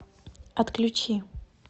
отключи